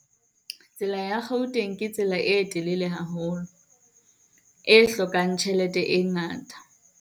Tsela ya Gauteng ke tsela e telele haholo, e hlokang tjhelete e ngata.